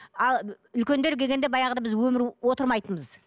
ал үлкендер келгенде баяғыда біз өмірі отырмайтынбыз